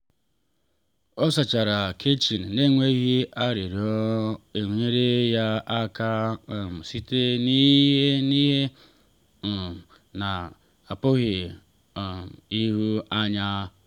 ọ sachara kichin n’enweghị arịrịọ nyeere ya aka um site n’ihe n’ihe um na-apụghị um ịhụ anya.